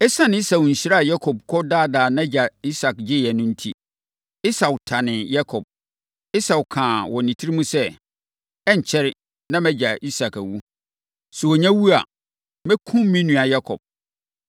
Esiane Esau nhyira a Yakob kɔdaadaa wɔn agya Isak gyeeɛ no enti, Esau tanee Yakob. Esau kaa wɔ ne tirim sɛ, “Ɛrenkyɛre, na mʼagya Isak awu. Sɛ ɔnya wu a, mɛkum me nua Yakob.”